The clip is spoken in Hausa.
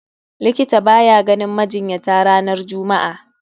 Likita baya ganin majinyata ranar Juma'a